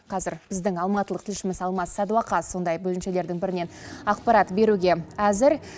қазір біздің алматылық тілшіміз алмас садуақас сондай бөлімшелердің бірінен ақпарат беруге әзір